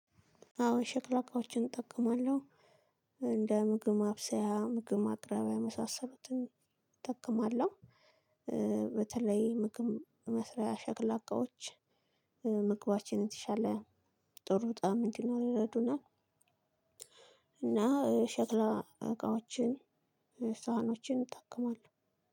አዎ ሽክላ እቃዎችን እጠቀማለሁ እንደ ምግብ ማብሰያ ምግብ ማቅረቢያ የመሳሰሉትን እጠቀማለሁ። በተለይ ምግብ መስሪያ ሸክላ እቃዎች ምግባችንን የተሻለ ጥሩ ጣዕም እንዲኖረው ይረዱናል። እና ሸክላ እቃዎችን ሳህኖችን እጠቀማለሁ።